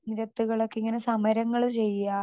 speaker 2 നിരത്തുകളൊക്കെ ഇങ്ങനെ സമരങ്ങള് ചെയ്യാ